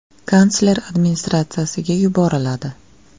Kansler administratsiyasiga yuboriladi.